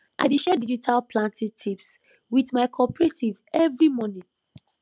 i dey share digital planting tips wit my cooperative every morning